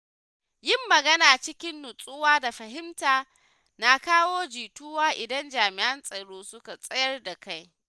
Yin magana cikin nutsuwa da fahimta na kawo jituwa idan jami’an tsaro suka tsayar da kai.